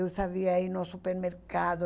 Eu sabia ir no supermercado.